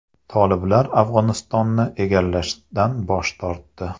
Toliblar Afg‘onistonni egallashdan bosh tortdi.